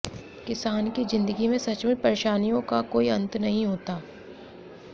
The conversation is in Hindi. किसान की जिन्दगी में सचमुच परेशानियों का कोई अन्त नहीं होता